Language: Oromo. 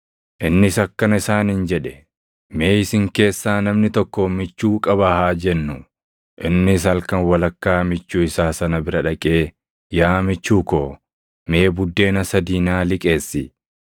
Innis akkana isaaniin jedhe; “Mee isin keessaa namni tokko michuu qaba haa jennuu; innis halkan walakkaa michuu isaa sana bira dhaqee, ‘Yaa michuu ko, mee buddeena sadii naa liqeessi;